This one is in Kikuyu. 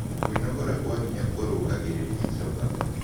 Kwĩnogora gwa hinya kũrũngagĩrĩrĩa ĩchoka